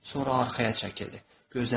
Sonra arxaya çəkildi.